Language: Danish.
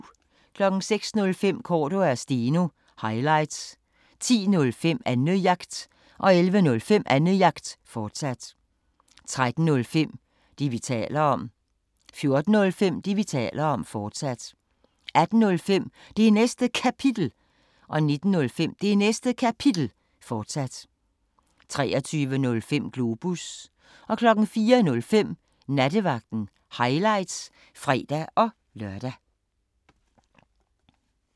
05:05: Cordua & Steno – highlights 10:05: Annejagt 11:05: Annejagt, fortsat 13:05: Det, vi taler om 14:05: Det, vi taler om, fortsat 18:05: Det Næste Kapitel 19:05: Det Næste Kapitel, fortsat 23:05: Globus 04:05: Nattevagten – highlights (fre-lør)